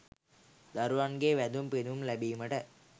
දරුවන්ගේ වැඳුම් පිඳුම් ලැබීමට